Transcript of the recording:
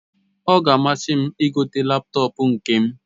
Ọ ga amasim igote laptọọpụ nkem